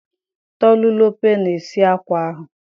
Tolulope na-esi akwa ahụ